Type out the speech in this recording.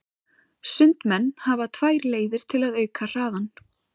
Sundmenn hafa tvær leiðir til að auka hraðann.